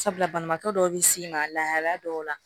Sabula banabaatɔ dɔw bi s'i ma lahala dɔw la